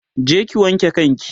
je ki wanke kan ki!